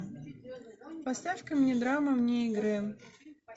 поставь ка мне драму вне игры